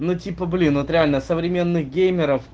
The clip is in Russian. ну типа блин вот реально современных геймеров